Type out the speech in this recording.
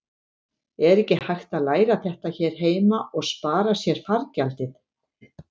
Er ekki hægt að læra þetta hér heima og spara sér fargjaldið?